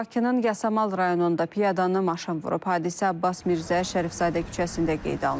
Bakının Yasamal rayonunda piyadanı maşın vurub, hadisə Abbas Mirzə Şərifzadə küçəsində qeydə alınıb.